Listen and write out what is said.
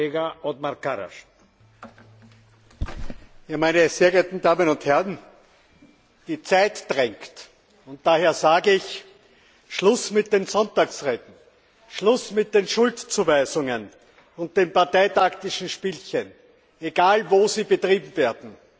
Herr Präsident, meine sehr geehrten Damen und Herren! Die Zeit drängt. Daher sage ich Schluss mit den Sonntagsreden, Schluss mit den Schuldzuweisungen und den parteitaktischen Spielchen, egal wo sie betrieben werden!